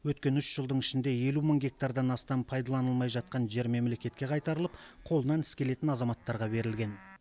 өткен үш жылдың ішінде елу мың гектардан астам пайдаланылмай жатқан жер мемлекетке қайтарылып қолынан іс келетін азаматтарға берілген